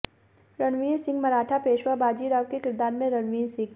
रणवीर सिंह मराठा पेशवा बाजीराव के किरदार में रणवीर सिंह